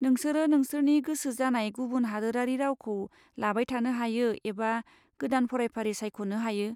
नोंसोरो नोंसोरनि गोसो जानाय गुबुन हादोरारि रावखौ लाबाय थानो हायो एबा गोदान फरायफारि सायख'नो हायो।